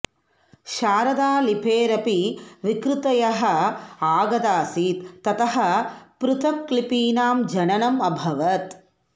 शारदालिपेरपि विकृतयः आगतासीत् ततः पृथक् लिपीनां जननम् अभवत्